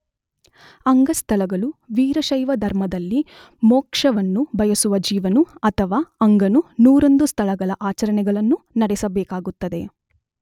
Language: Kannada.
ಅಂಗಸ್ಥಲಗಳು ವೀರಶೈವ ಧರ್ಮದಲ್ಲಿ ಮೋಕ್ಷವನ್ನು ಬಯಸುವ ಜೀವನು ಅಥವಾ ಅಂಗನು ನೂರೊಂದು ಸ್ಥಳಗಳ ಆಚರಣೆಗಳನ್ನು ನಡೆಸಬೇಕಾಗುತ್ತದೆ.